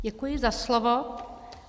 Děkuji za slovo.